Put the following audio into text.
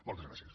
moltes gràcies